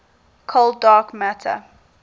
cold dark matter